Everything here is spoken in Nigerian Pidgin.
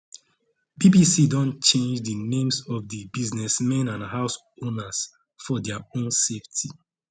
bbc don change di names of di businessmen and homeowners for dia own safety